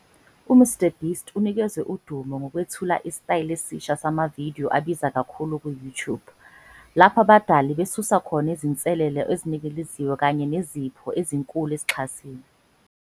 UMrBeast unikezwe udumo ngokwethula isitayela esisha samavidiyo abiza kakhulu ku-YouTube, lapho abadali besusa khona izinselelo eziningiliziwe kanye nezipho ezinkulu ezixhasiwe.